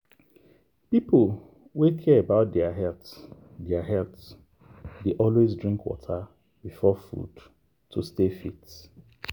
people wey care about their health their health dey always drink water before food to stay fit.